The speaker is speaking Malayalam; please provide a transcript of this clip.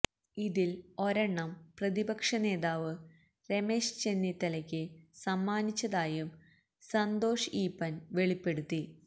ഇതിൽ ഒരെണ്ണം പ്രതിപക്ഷ നേതാവ് രമേശ് ചെന്നിത്തലയ്ക്ക് സമ്മാനിച്ചതായും സന്തോഷ് ഈപ്പൻ വെളിപ്പെടുത്തി